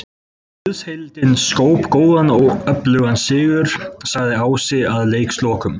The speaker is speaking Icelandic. Liðsheildin skóp góðan og öflugan sigur, sagði Ási að leikslokum.